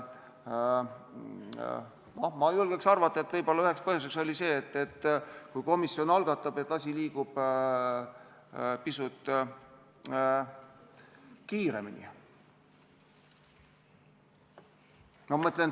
Ma julgeks arvata, et võib-olla üheks põhjuseks oli see, et kui komisjon algatab, siis asi liigub pisut kiiremini.